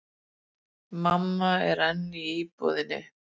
Mamma er enn í íbúðinni.